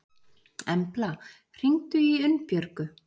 Embla, hringdu í Unnbjörgu.